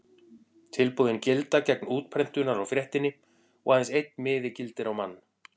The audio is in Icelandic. Tilboðin gilda gegn útprentunar á fréttinni og aðeins einn miði gildir á mann.